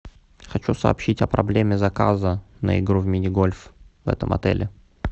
хочу сообщить о проблеме заказа на игру минигольф в этом отеле